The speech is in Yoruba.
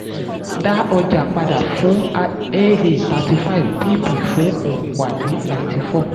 dá ọjà padà fún aa thirty five bb fún um wa ninety four